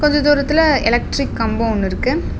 கொஞ்ச தூரத்துல எலக்ட்ரிக் கம்போ ஒன்னு இருக்கு.